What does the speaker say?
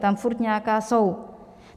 Tam pořád nějaká jsou.